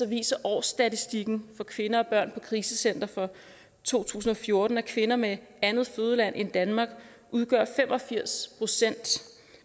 viser årsstatistikken for kvinder og børn krisecentre for to tusind og fjorten at kvinder med et andet fødeland end danmark udgør fem og firs procent